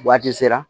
Waati sera